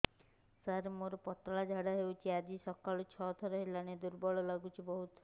ସାର ମୋର ପତଳା ଝାଡା ହେଉଛି ଆଜି ସକାଳୁ ଛଅ ଥର ହେଲାଣି ଦୁର୍ବଳ ଲାଗୁଚି ବହୁତ